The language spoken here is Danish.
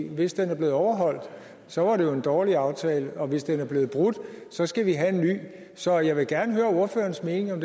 hvis den er blevet overholdt så var det jo en dårlig aftale og hvis den er blevet brudt så skal vi have en ny så jeg vil gerne høre ordførerens mening om